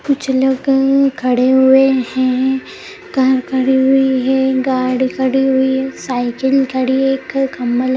कुछ लोग खड़े हुए है कार खड़ी हुई है गाड़ी खड़ी हुई है साइकिल खड़ी एक खम्बा लगा --